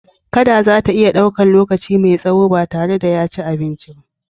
Kada za ta iya ɗaukan lokaci mai tsaho ba tare da ya ci abinci ba.